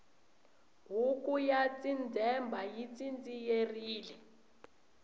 huku ya tsindzemba yi tsindziyerile